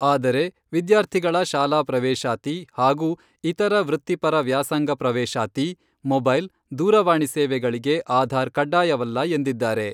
ಆದರೆ, ವಿದ್ಯಾರ್ಥಿಗಳ ಶಾಲಾ ಪ್ರವೇಶಾತಿ ಹಾಗೂ ಇತರ ವೃತ್ತಿಪರ ವ್ಯಾಸಂಗ ಪ್ರವೇಶಾತಿ, ಮೊಬೈಲ್, ದೂರವಾಣಿ ಸೇವೆಗಳಿಗೆ ಆಧಾರ್ ಕಡ್ಡಾಯವಲ್ಲ ಎಂದಿದ್ದಾರೆ.